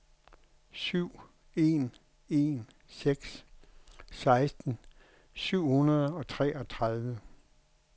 syv en en seks seksten syv hundrede og treogtredive